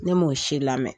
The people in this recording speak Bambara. Ne m'o si lamɛn